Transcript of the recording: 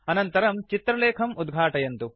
अनन्तरं चित्र लेखं उद्घाटयन्तु